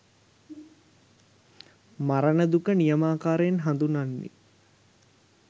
මරණ දුක නියමාකාරයෙන් හඳුනන්නේ